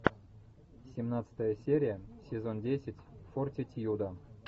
семнадцатая серия сезон десять фортитьюда